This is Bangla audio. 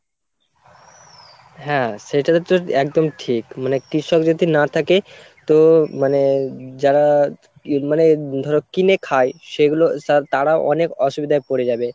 হ্যাঁ, সেটা হচ্ছে একদম ঠিক মানে কৃষক যদি না থাকে তো মানে যারা মানে ধরো কিনে খায় সেগুলো তারাও অনেক অসুবিধায় পড়ে যাবে।